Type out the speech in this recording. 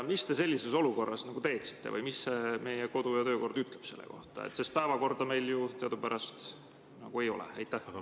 Mis te sellises olukorras teeksite või mis meie kodu‑ ja töökord ütleb selle kohta, sest päevakorda meil ju teadupärast nagu ei ole?